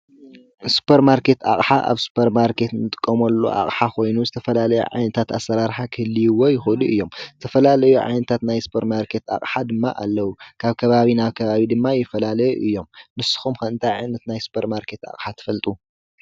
ስፖርማርኬት ኣቕሓ ኣብ ስፖርማርኬት እንጥቀመሉ ኣቕሓ ኮይኑ ዝተፈላለየ ዓይነታት ኣሰራርሓ ክህልይዎ ይኸእሉ እዮም። ዝተፈላለዩ ዓይነታት ናይ ስፖርማርኬት ኣቕሓ ድማ ኣለው። ካብ ከባቢ ናብ ከባቢ ድማ ይፈላለዩ እዮም። ንስኩም ኸ እንታይ ዓይነት ናይ ስፖርማርኬት ኣቕሓ ትፈልጡ?